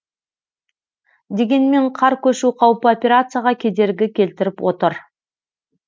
дегенмен қар көшу қаупі операцияға кедергі келтіріп отыр